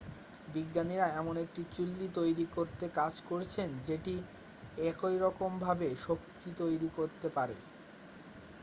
বিজ্ঞানীরা এমন একটি চুল্লি তৈরি করতে কাজ করছেন যেটি একইরকমভাবে শক্তি তৈরি করতে পারে